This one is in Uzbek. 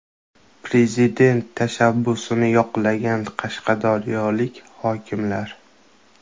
Prezident tashabbusini yoqlagan qashqadaryolik hokimlar.